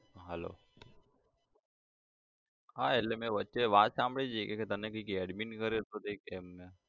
Hello હા એટલે મેં વચ્ચે વાત સાંભળી હતી કે તને કઈક admit કર્યો હતો કઈ એમને